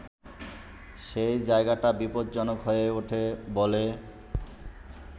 সেই জায়গাটা বিপজ্জনক হয়ে ওঠে বলে